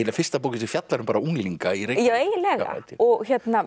fyrsta bókin sem fjallar um bara unglinga í Reykjavík já eiginlega og